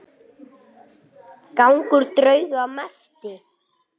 Ég bíð eftir svari.